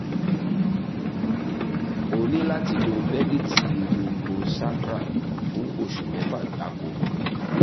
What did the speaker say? o ní láti lo bẹ́líìtì lumbosacral fún oṣù mẹ́fà gbáko